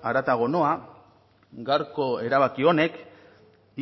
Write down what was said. haratago noa gaurko erabaki honek